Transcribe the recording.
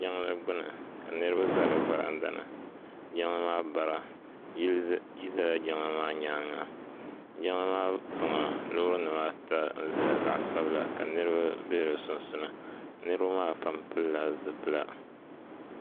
Jiŋli gbuni ka niriba za di varanda ni jiŋli maa bara yili zala jiŋli maa nyaanga jiŋli maa tiŋa loori nim ata n zaya zaɣa sabila ka niriba bɛ di sunsuuni niriba maa pam pili la zipila.